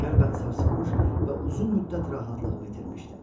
Qəlbən sarsılmış və uzun müddət rahatlığımı itirmişdim.